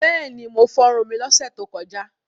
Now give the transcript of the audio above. Bẹ́ẹ̀ni, mo fọrun mi lọ́sẹ̀ tó kọjá.